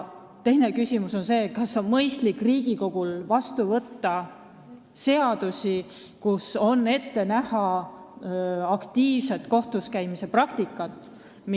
Omaette küsimus on, kas Riigikogul on mõistlik võtta vastu seadusi, mille puhul on ette näha aktiivset kohtuskäimist.